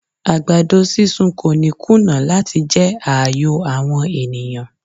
Àgbàdo sísun kò ní kùnà láti jẹ́ ààyò àwọn ènìyàn.